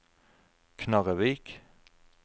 Knarrevik